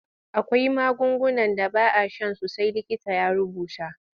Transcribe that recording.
Akwai magungunan da ba a shan su sai likita ya rubuta.